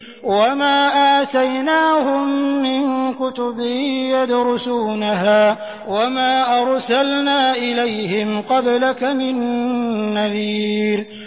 وَمَا آتَيْنَاهُم مِّن كُتُبٍ يَدْرُسُونَهَا ۖ وَمَا أَرْسَلْنَا إِلَيْهِمْ قَبْلَكَ مِن نَّذِيرٍ